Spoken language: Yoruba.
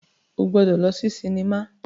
O gbọdọ lọ si sinima